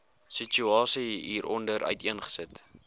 situasie hieronder uiteengesit